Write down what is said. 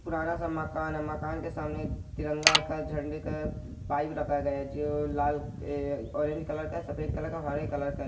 पुराना सा मकान है मकान के सामने एक तिरंगा का झंडे का पाइप रखा गया है जो लाल ए ऑरेंज कलर का सफेद कलर का और हरे कलर है ।